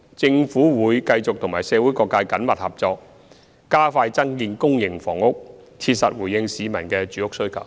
政府會繼續和社會各界緊密合作，加快增建公營房屋，切實回應市民的住屋需求。